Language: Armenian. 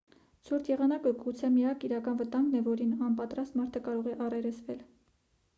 ցուրտ եղանակը գուցե միակ իրական վտանգն է որին անպատրաստ մարդը կարող է առերեսվել